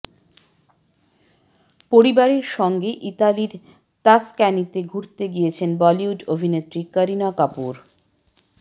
পরিবারের সঙ্গে ইতালির তাসক্যানিতে ঘুরতে গিয়েছেন বলিউড অভিনেত্রী কারিনা কাপুর